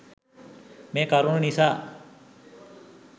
මේ කරුණු නිසා